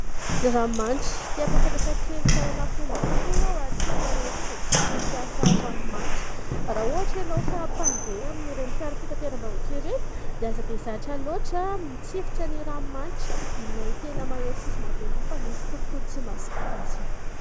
Ny ranomanitra te am-pafantatra kely fahalalampoba foana aho ho an-tsika tia mampiasa ranomanitra raha ohatra ianao ka mpandeha amin'ireny fiara fitateram-bahoaka ireny dia aza dia zatra loatra mitsifotra ny ranomanitra ilay tena mahery fofona be iny fa misy tompoko ny tsy mahazaka azy io